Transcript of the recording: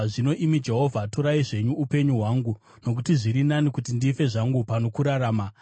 Zvino, imi Jehovha, torai zvenyu upenyu hwangu, nokuti zviri nani kuti ndife zvangu pano kurarama.”